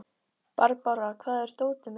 Barbára, hvar er dótið mitt?